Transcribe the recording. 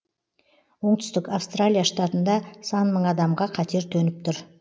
оңтүстік австралия штатында сан мың адамға қатер төніп тұр